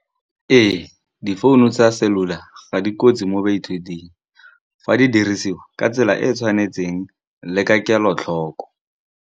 Ee, difounu tsa cellular ga dikotsi mo baithuting fa di dirisiwa ka tsela e e tshwanetseng le ka kelotlhoko.